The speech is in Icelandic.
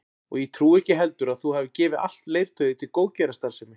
Og ég trúi ekki heldur að þú hafir gefið allt leirtauið til góðgerðarstarfsemi